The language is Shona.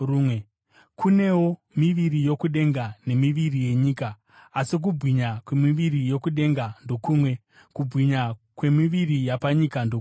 Kunewo miviri yokudenga, nemiviri yenyika; asi kubwinya kwemiviri yokudenga ndokumwe kubwinya, kwemiviri yapanyika ndokumwe.